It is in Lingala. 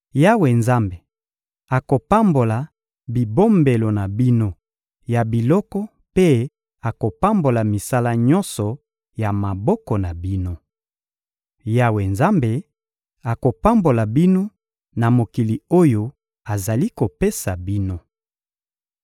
Yawe Nzambe akopambola bibombelo na bino ya biloko mpe akopambola misala nyonso ya maboko na bino. Yawe Nzambe akopambola bino na mokili oyo azali kopesa bino.